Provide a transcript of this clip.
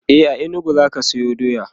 a inugu zaka Sayo doya?